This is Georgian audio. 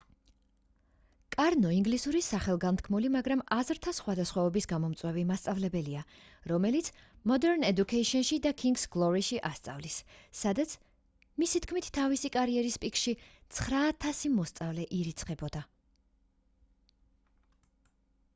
კარნო ინგლისურის სახელგანთქმული მაგრამ აზრთა სხვადასხვაობის გამომწვევი მასწავლებელია რომელმიც modern education-ში და king's glory-ში ასწავლის სადაც მისი თქმით თავისი კარიერის პიკში 9000 მოსწავლე ირიცხებოდა